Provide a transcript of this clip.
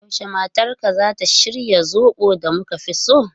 Yaushe matarka zata shirya zobo da muka fi so?